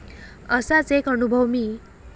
असाच एक अनुभव मी.